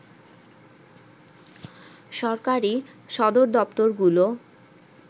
সরকারি সদরদপ্তরগুলো